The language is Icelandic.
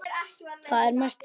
Þá er mest gaman.